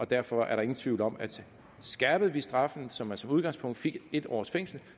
derfor er der ingen tvivl om at skærpede vi straffene så man som udgangspunkt fik en års fængsel